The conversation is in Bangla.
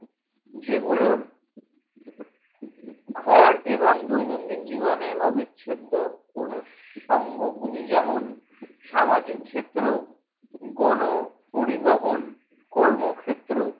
যেগুলোর ঘর এবং দৈনন্দিন জীবনের অবিচ্ছেদ্য অনুসঙ্গগুলি। যেমন, সামাজিক ক্ষেত্র, গণ পরিবহন, কর্মক্ষেত্র